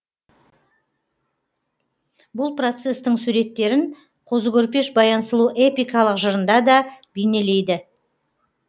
бұл процестің суреттерін қозы көрпеш баян сұлу эпикалық жырында да бейнелейді